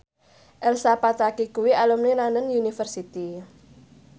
Elsa Pataky kuwi alumni London University